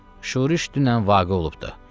Şuriş dünən vaqə olubdur.